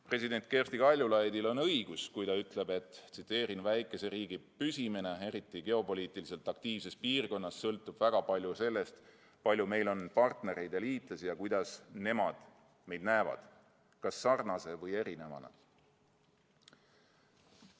President Kersti Kaljulaidil on õigus, kui ta ütleb: "Väikese riigi püsimine, eriti geopoliitiliselt aktiivses piirkonnas, sõltub väga palju sellest, palju meil on partnereid ja liitlasi ja kuidas nemad meid näevad: kas sarnase või erinevana.